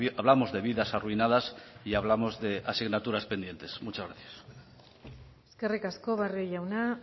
hablamos de vidas arruinadas y hablamos de asignaturas pendientes muchas gracias eskerrik asko barrio jauna